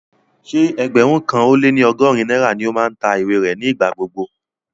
Ṣé ẹgbẹ̀rún kan lé ní ọgọ́rin náírà ni ó máa ń ta ìwé rẹ̀ ní ìgbà gbogbo